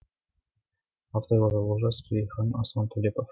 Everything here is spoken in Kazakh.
авторлары олжас керейхан аслан төлепов